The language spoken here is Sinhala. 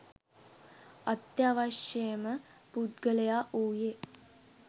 අත්‍යවශ්‍යම පුද්ගලයා වූයේ